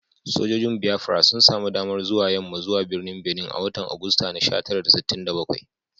Sojojin Biafra sun sami damar zuwa yamma zuwa birnin Benin a watan Agusta sha tara da sittin da bakwai